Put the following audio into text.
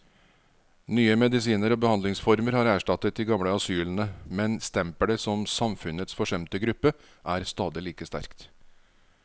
Nye medisiner og behandlingsformer har erstattet de gamle asylene, men stempelet som samfunnets forsømte gruppe er stadig like sterkt.